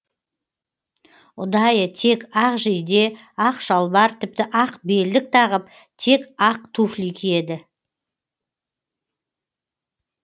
ұдайы тек ақ жейде ақ шалбар тіпті ақ белдік тағып тек ақ туфли киеді